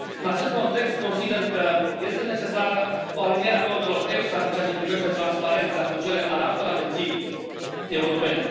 În acest context, consider că este necesară o aliniere a normelor EFSA în ceea ce privește transparența cu cele ale altor agenții europene.